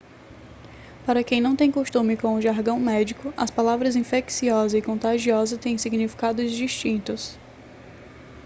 para quem não tem costume com o jargão médico as palavras infecciosa e contagiosa têm significados distintos